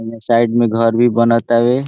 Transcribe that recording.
उन्ने साइड में घर भी बनअतावे।